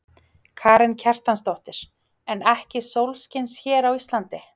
Karen Kjartansdóttir: En ekki sólskins hér á Íslandi?